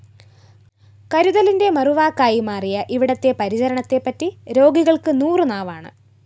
കരുതലിന്റെ മറുവാക്കായി മാറിയ ഇവിടത്തെ പരിചരണത്തെപറ്റി രോഗികള്‍ക്ക് നൂറുനാവാണ്